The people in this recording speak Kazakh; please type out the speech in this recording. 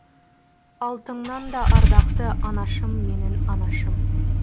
алтыннан да ардақты анашым менің анашым